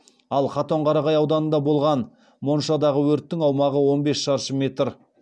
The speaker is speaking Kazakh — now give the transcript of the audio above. ал катонқарағай ауданында болған моншадағы өрттің аумағы он бес шаршы метр